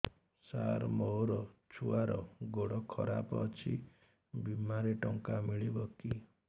ସାର ମୋର ଛୁଆର ଗୋଡ ଖରାପ ଅଛି ବିମାରେ ଟଙ୍କା ମିଳିବ କି